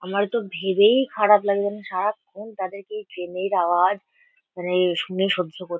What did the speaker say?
আমারতো ভেবেই খারাপ লাগে যে আমি সারাক্ষন তাদেরকে এই ট্রেন -এর আওয়াজ মানে শুনে সহ্য কর --